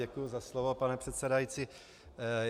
Děkuji za slovo, pane předsedající.